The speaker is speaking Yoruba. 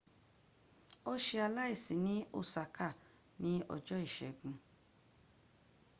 o ṣe aláìsi ní osaka ní ọjọ́ ìségun